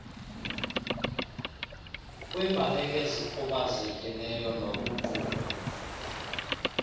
kwiimbaleki ezikhubazekileyo nokuqukwa